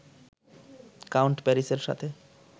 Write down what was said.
count প্যারিসের সাথে